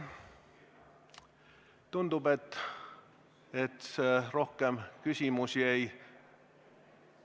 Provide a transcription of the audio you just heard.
Tundub, et rohkem küsimusi ei ...